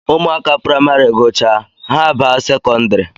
Ụmụaka praịmarị gụchaa, ha abaa sekondari